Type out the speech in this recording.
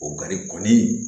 O kari kɔni